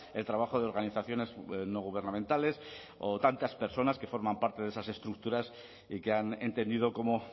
el trabajo de organizaciones no gubernamentales o tantas personas que forman parte de esas estructuras y que han entendido cómo